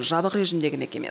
жабық режімдегі мекеме